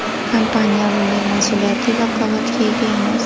Kompaniya bunday mas’uliyatli vakolatga ega emas.